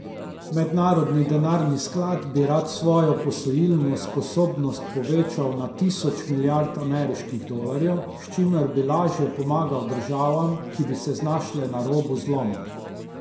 Mednarodni denarni sklad bi rad svojo posojilno sposobnost povečal na tisoč milijard ameriških dolarjev, s čimer bi lažje pomagal državam, ki bi se znašle na robu zloma.